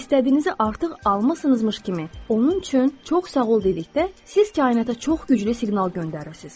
İstədiyinizi artıq almısınızmış kimi onun üçün çox sağ ol dedikdə, siz kainata çox güclü siqnal göndərirsiz.